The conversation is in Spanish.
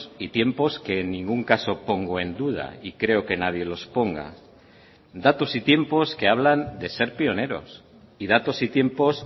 y tiempos que en ningún caso pongo en duda y creo que nadie los ponga datos y tiempos que hablan de ser pioneros y datos y tiempos